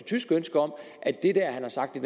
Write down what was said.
tysk ønske om at det han har sagt